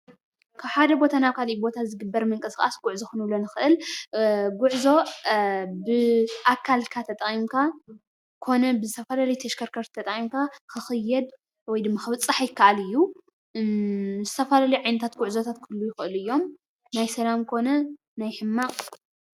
ካብ ሓደ ቦታ ናብ ካሊእ ቦታ ዝግበር ምንቅስቃስ ጉዕዞ ክንብሎ ንኽእል፣ ጉዕዞ ብኣካልካ ተጠቂምካ ኮነ ብዝተፈላለዩ ተሽከርከቲ ተጠቂምካ ክክየድ ወይ ድማ ክብፃሕ ይከኣል እዩ። ዝተፈላለዩ ዓይነታት ጉዕዞታት ክህልዉ ይክእሉ እዮም ናይ ሰላም ኮነ ናይ ሕማቅ።